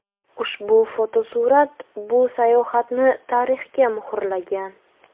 Ushbu fotosurat bu sayohatni tarixga muhrlagan.